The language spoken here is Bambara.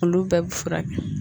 Olu bɛɛ bi furakɛ